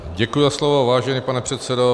Děkuji za slovo, vážený pane předsedo.